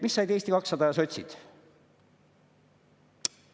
Mida said Eesti 200 ja sotsid?